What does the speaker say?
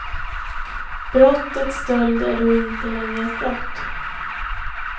Brottet stöld är då inte längre ett brott.